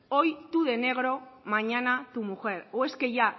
hoy tu de negro mañana tu mujer o es que ya